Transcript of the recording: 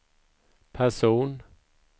person